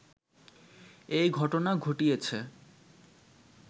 এ ঘটনা ঘটিয়েছে